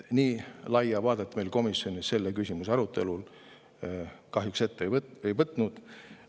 Nii laia vaadet me komisjon selle küsimuse arutelul kahjuks ette ei võtnud.